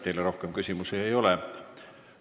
Teile rohkem küsimusi ei ole.